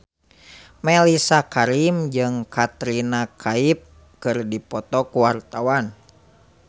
Mellisa Karim jeung Katrina Kaif keur dipoto ku wartawan